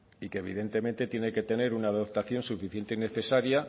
y que evidentemente tiene que tener una dotación suficiente y necesaria